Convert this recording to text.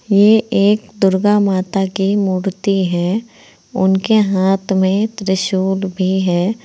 ये एक दुर्गा माता की मूर्ति है। उनके हाथ में त्रिशूल भी है।